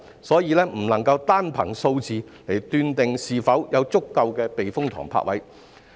所以，不能夠單憑數字而斷定是否有足夠的避風塘泊位。